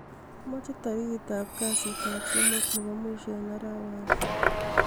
amoche tarigit ab kasit ab somok nebo mwisho en atawani